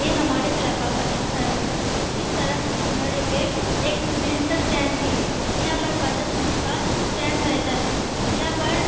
यह हमारे इलाका का एक सड़क है इस सड़क के किनारे में एक रिश्का स्टैंड भी है यहाँ पर पचास रिश्का स्टैंड रहता है यहाँ पर--